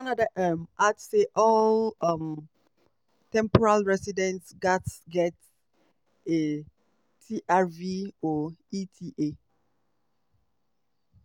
canada um add say all um temporary residents gatz get a trv or eta